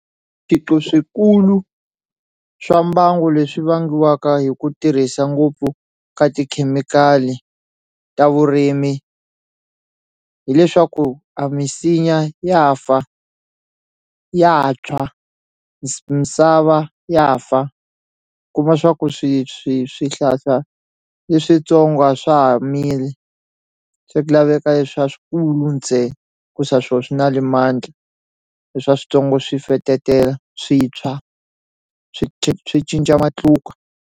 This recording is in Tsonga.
Swiphiqo swikulu swa mbangu leswi vangiwaka hi ku tirhisa ngopfu ka tikhemikhali ta vurimi hileswaku a misinya ya fa ya tshwa misava ya fa kuma swa ku swi swi swihlahla leswitsongo a swa ha mili se ku laveka leswa swikulu ntsena hi ku sa swo swi na le swa switsongo swi fetetela swi tshwa swi cinca matluka.